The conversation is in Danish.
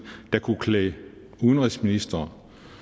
der kunne klæde udenrigsministeren